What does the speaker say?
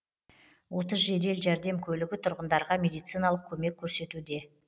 отыз жедел жәрдем көлігі тұрғындарға медициналық көмек көрсетуде